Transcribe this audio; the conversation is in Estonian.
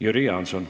Jüri Jaanson.